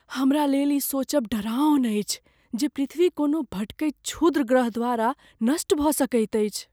हमरा लेल ई सोचब डेराओन अछि जे पृथ्वी कोनो भटकैत क्षुद्रग्रह द्वारा नष्ट भऽ सकैत अछि।